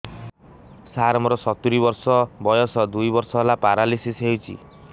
ସାର ମୋର ସତୂରୀ ବର୍ଷ ବୟସ ଦୁଇ ବର୍ଷ ହେଲା ପେରାଲିଶିଶ ହେଇଚି